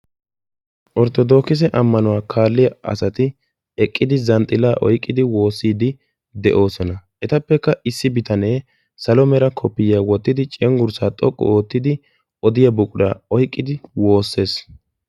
Orttoodokise ammanuwaa kaalliyaa asati eqqidi zanxxilaa oyqqidi woossiidi de'oosona. etappekka issi bitanee salo mera koppiyiyaa wottidi cengurssaa xoqqu oottidi wodiyaa buquraa oyqqidi woossees.